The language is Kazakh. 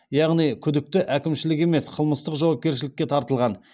яғни күдікті әкімшілік емес қылмыстық жауапкершілікке тартылған